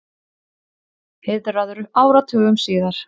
Heiðraður áratugum síðar